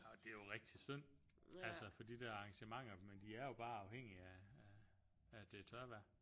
Og det er jo rigtig synd altså for de der arrangementer men de er jo bare afhængige af af at det er tørvejr